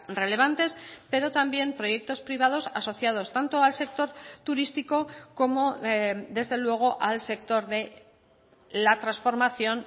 relevantes pero también proyectos privados asociados tanto al sector turístico como desde luego al sector de la transformación